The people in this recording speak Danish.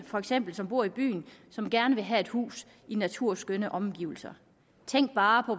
for eksempel bor i byen og som gerne vil have et hus i naturskønne omgivelser tænk bare på